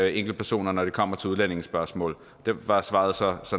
enkeltpersonerne når det kommer til udlændingespørgsmål der var svaret så